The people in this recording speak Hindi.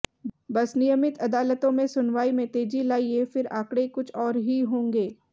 बस नियमित अदलतों में सुनवाई में तेजी लाइए फिर आंकड़े कुछ और ही होंगे